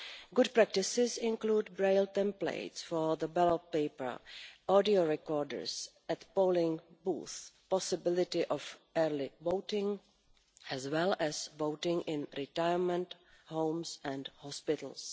Good practices include Braille templates for the ballot paper, audio recorders at polling booths and the possibility of early voting, as well as voting in retirement homes and hospitals.